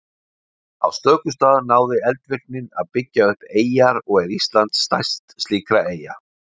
Á stöku stað náði eldvirknin að byggja upp eyjar og er Ísland stærst slíkra eyja.